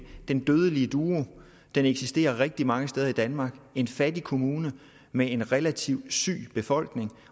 den dødelige duo eksisterer rigtig mange steder i danmark en fattig kommune med en relativt syg befolkning